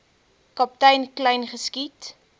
kaptein kleyn geskiet